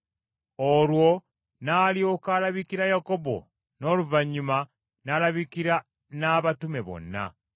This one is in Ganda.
Olwo n’alyoka alabikira Yakobo, n’oluvannyuma n’alabikira n’abatume bonna.